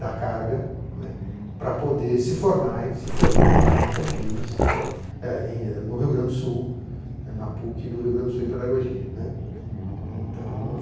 da carga, né, para poder se formar, e se formou lá em Campinas, né, eh em, no Rio Grande do Sul, é na PUC do Rio Grande do Sul em Pedagogia, né, então